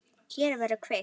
Hér verður kveikt.